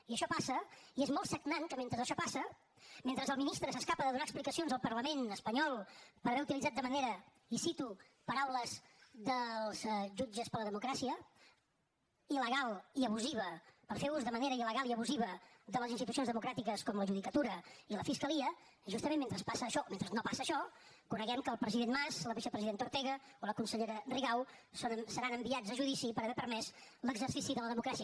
i això passa i és molt sagnant que mentre això passa mentre el ministre s’escapa de donar explicacions al parlament espanyol per haver utilitzat de manera i cito paraules dels jutges per a la democràcia il·legal i abusiva per fer ús de manera il·legal i abusiva de les institucions democràtiques com la judicatura i la fiscalia justament mentre passa això mentre noortega o la consellera rigau seran enviats a judici per haver permès l’exercici de la democràcia